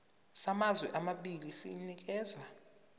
samazwe amabili sinikezwa